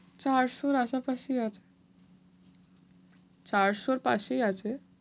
চারশোর আশেপাশেই আছে চারশোর পাশেই আছে।